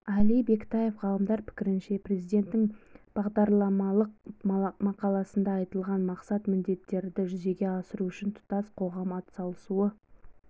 әли бектаев ғалымдар пікірінше президенттің бағдарламалық мақаласында айтылған мақсат-міндеттерді жүзеге асыру үшін тұтас қоғам атсалысуы